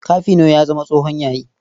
Kafino ya zama tsohon yayi.